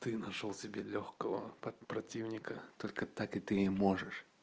ты нашёл тебе лёгкого танка противника только так и ты можешь